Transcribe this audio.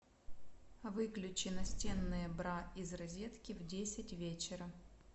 выключи настенные бра из розетки в десять вечера